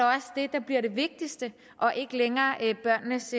der bliver det vigtigste og ikke længere børnenes